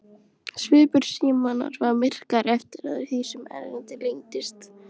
Svipur Símonar varð myrkari eftir því sem erindið lengdist.